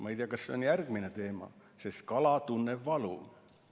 Ma ei tea, kas see on järgmine teema, sest kala tunneb valu.